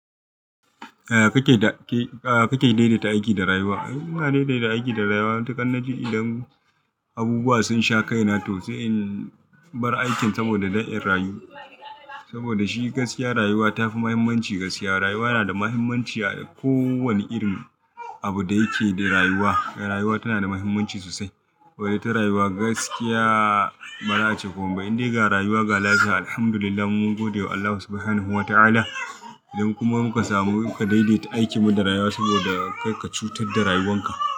A kake daidaita aiki da rayuwa. Ina daidaita aiki da rayuwa. Ni tun kan na ji idan abubuwa sun sha kai na tausayin bar aikin saboda da ɗayan rayu. Saboda shi gaskiya rayuwa tafi muhimmanci gaskiya. Rayuwa yana da muhimmanci a kowane irin abu da yake da rayuwa. Rayuwa tana da muhimmanci sosai. Wai ita rayuwa gaskiya mara acewamaiba. Indai ga rayuwa galada, alhamdulillah mun gode wa Allah Subhanahu wa ta'ala. Idan kuma muka samu ku daidaita aiki mu da rayuwa saboda kai ka cutar da rayuwan ka.